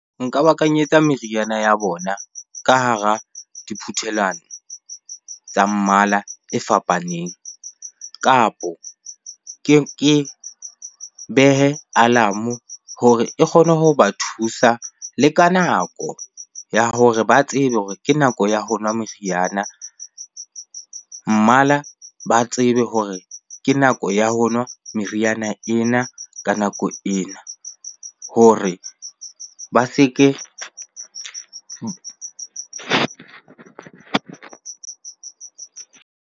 Nka ba kanyetsa meriana ya bona ka hara diphuthelwana tsa mmala e fapaneng. Kapo ke behe alarm-o hore e kgone ho ba thusa le ka nako ya hore ba tsebe hore ke nako ya ho nwa meriana. Mmala ba tsebe hore ke nako ya ho nwa meriana ena ka nako ena hore ba se ke .